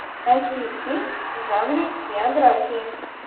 найти фильм в жанре биографии